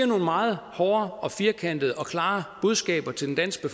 nogle meget hårde firkantede og klare budskaber til den danske